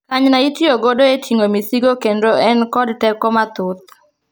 Kanyna itiyogodo etingo misigo kendo en kod teko mathoth.